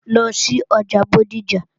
Lọ sí ọjà Bódìjà!